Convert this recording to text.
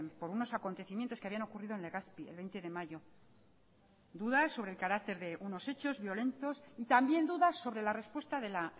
por unos acontecimientos que habían ocurrido en legazpi el veinte de mayo dudas sobre el carácter de unos hecho violentos y también dudas sobre la respuesta de la